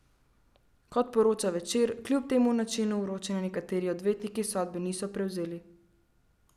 Kot poroča Večer, kljub temu načinu vročanja nekateri odvetniki sodbe niso prevzeli.